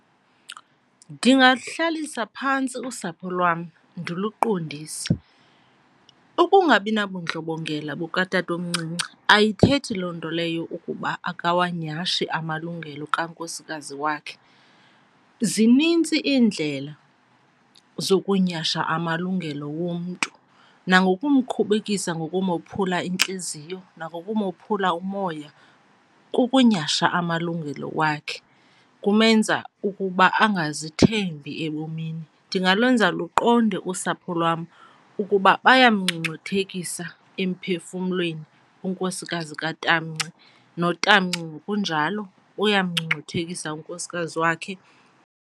Ndingaluhlalisa phantsi usapho lwam ndiluqondise. Ukungabinabundlobongela bukatatomncinci ayithethi loo nto leyo ukuba akawanyhashi amalungelo kunkosikazi wakhe. Zinintsi iindlela zokunyhasha amalungelo womntu nangokumkhubekisa ngokumophulula intliziyo nangokumophula umoya, kukunyhasha amalungelo wakhe kumenza ukuba angazithembi ebomini. Ndingalwenza luqonde usapho lwam ukuba bayamngcungcuthekisa emphefumlweni unkosikazi katamnci notamnci ngokunjalo uyamngcungcuthekisa unkosikazi wakhe.